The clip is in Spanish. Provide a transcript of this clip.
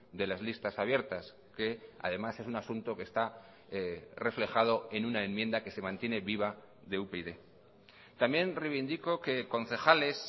de las listas abiertas que además es un asunto que está reflejado en una enmienda que se mantiene viva de upyd también reivindico que concejales